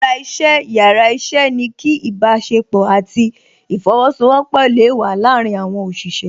Ara iṣẹ́ yàrá iṣẹ́ ni kí ìbásepọ̀ àti ìfosowọpọ̀ le wa láàrin àwọn òṣìṣẹ́